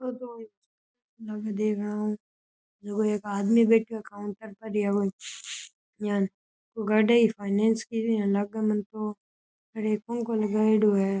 और दो आदमी लाग देखन ऊ उन् एक आदमी बैठो है एक पंखो लगाएड़ो है।